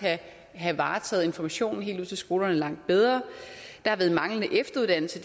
have varetaget informationen helt ud til skolerne langt bedre der har været manglende efteruddannelse